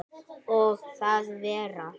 Og að vera